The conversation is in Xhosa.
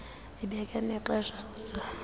ibeke nexesha oza